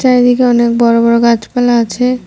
চারিদিকে অনেক বড় বড় গাছপালা আছে।